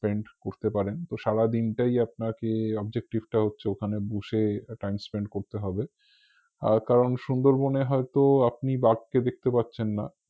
spend করতে পারেন তো সারা দিনটাই আপনাকে objective টা হচ্ছে ওখানে বসে time spend করতে হবে আর কারণ সুন্দরবনে হয়ত আপনি বাঘকে দেখতে পাচ্ছেন না